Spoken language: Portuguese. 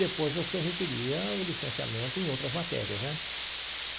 Depois você requeria o licenciamento em outras matérias, né?